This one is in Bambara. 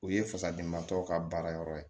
O ye fasadenba tɔw ka baara yɔrɔ ye